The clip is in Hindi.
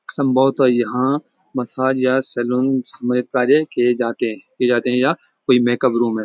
सम्भवता यहाँ मसाज या सैलून मे कार्य किए जाते हैं किए जाते हैं या कोई मेकप रूम है।